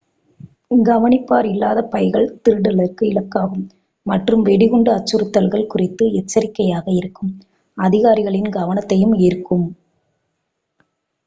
கவனிப்பார் இல்லாத பைகள் திருடலுக்கு இலக்காகும் மற்றும் வெடிகுண்டு அச்சுறுத்தல்கள் குறித்து எச்சரிக்கையாக இருக்கும் அதிகாரிகளின் கவனத்தையும் ஈர்க்கும்